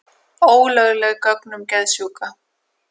Ólögleg gögn um geðsjúka